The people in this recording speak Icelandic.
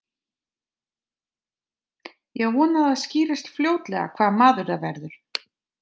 Ég á von á því að það skýrist fljótlega hvaða maður það verður.